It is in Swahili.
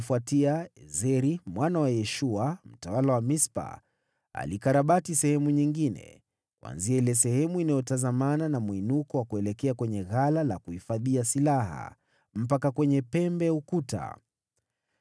Baada yao, Ezeri mwana wa Yeshua, mtawala wa Mispa, alikarabati sehemu nyingine, kuanzia ile sehemu inayotazamana na mwinuko wa kuelekea kwenye ghala la kuhifadhia silaha, mpaka kwenye pembe ya ukuta.